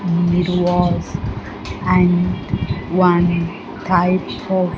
Hmm it was and one type of --